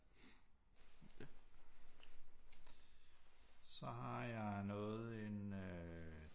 Så har jeg noget en øh